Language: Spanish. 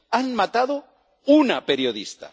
Han matado a una periodista.